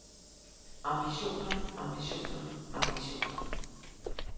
ambitioner ambitioner ambitioner